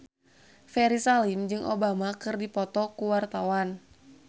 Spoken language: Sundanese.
Ferry Salim jeung Obama keur dipoto ku wartawan